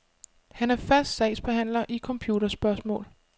Han er fast sagsbehandler i computerspørgsmål.